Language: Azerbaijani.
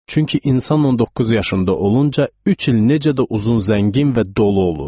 Çünki insan 19 yaşında olunca üç il necə də uzun, zəngin və dolu olur.